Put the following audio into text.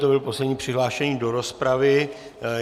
To byl poslední přihlášený do rozpravy.